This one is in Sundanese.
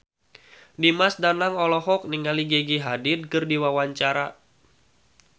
Dimas Danang olohok ningali Gigi Hadid keur diwawancara